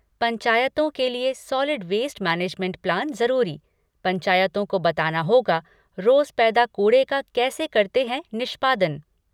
पंचायतों के लिए सॉलिड वेस्ट मैनेजमेंट प्लान जरूरी, पंचायतों को बताना होगा रोज पैदा कूड़े का कैसे करते हैं निष्पादन।